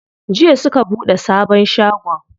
Jiya suka buɗe sabon shagon.